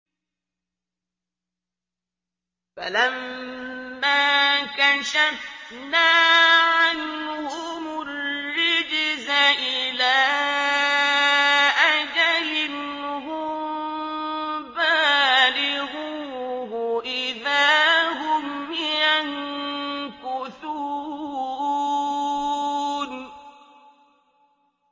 فَلَمَّا كَشَفْنَا عَنْهُمُ الرِّجْزَ إِلَىٰ أَجَلٍ هُم بَالِغُوهُ إِذَا هُمْ يَنكُثُونَ